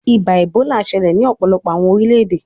Iba Ebola ṣẹlẹ ni ọpọlọpọ awọn orilẹ-ede